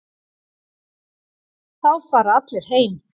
Þá fara allir heim.